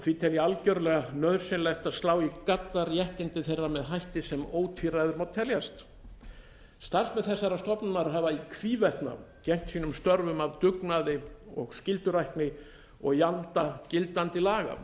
því tel ég algjörlega nauðsynlegt að slá í gadda réttindi þeirra með hætti sem ótvíræður má teljast starfsmenn þessarar stofnunar hafa í hvívetna gegnt sínum störfum af dugnaði og skyldurækni og í anda gildandi laga þeir